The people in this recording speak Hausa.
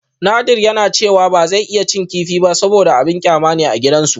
Nadir yana cewa ba zai iya cin kifi ba saboda abin kyama ne a gidansu